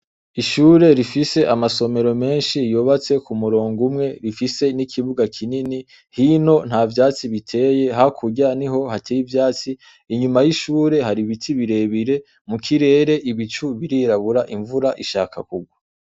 Ishure rifise amasomero menshi yubatse ku murongo unwe rifise n'ikibuga kinini, hino nta vyatsi biteye hakurya niho hateye ivyatsi. Inyuma y'ishure hari ibiti birebire, mu kirere ibicu birirabura imvura ishaka kugwa.